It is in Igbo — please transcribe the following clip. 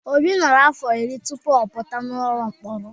Obi nọrọ afọ iri tupu ọ pụta n'ụlọ mkpọrọ.